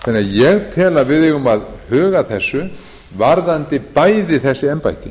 ég tel því að við eigum að huga að þessu varðandi bæði þessi embætti